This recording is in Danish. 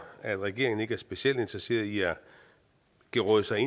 at regeringen ikke er specielt interesseret i at geråde sig